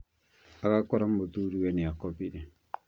Agakora mũthuriwe nĩakomire